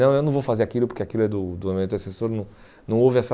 Não, eu não vou fazer aquilo porque aquilo é do do meu antecessor não não houve essa...